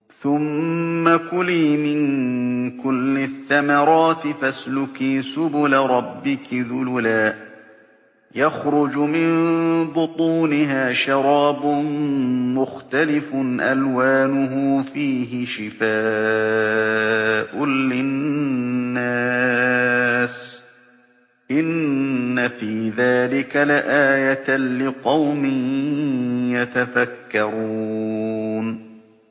ثُمَّ كُلِي مِن كُلِّ الثَّمَرَاتِ فَاسْلُكِي سُبُلَ رَبِّكِ ذُلُلًا ۚ يَخْرُجُ مِن بُطُونِهَا شَرَابٌ مُّخْتَلِفٌ أَلْوَانُهُ فِيهِ شِفَاءٌ لِّلنَّاسِ ۗ إِنَّ فِي ذَٰلِكَ لَآيَةً لِّقَوْمٍ يَتَفَكَّرُونَ